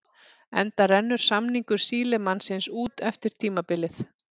Enda rennur samningur Sílemannsins út eftir tímabilið.